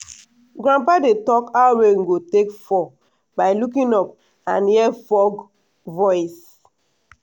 grandpa dey talk how rain go take fall by looking up and hear frog voice.